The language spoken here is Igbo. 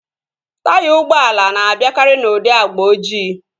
Taya ụgbọala na-abịakari n'ụdị agba ojii